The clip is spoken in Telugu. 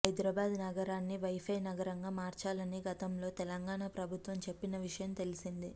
హైదరాబాద్ నగరాన్ని వైఫై నగరంగా మార్చాలని గతంలో తెలంగాణ ప్రభుత్వం చెప్పిన విషయం తెలిసిందే